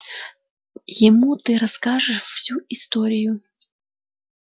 ему ты расскажешь всю историю